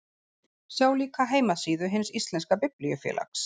Sjá líka heimasíðu Hins íslenska biblíufélags.